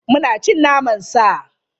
Muna cin naman sa.